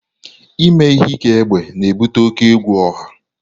Ime ihe ike egbe na-ebute oke egwu ọha